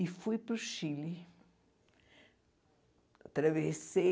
E fui para o Chile. Atravessei